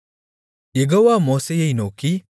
யெகோவா மோசேயை நோக்கி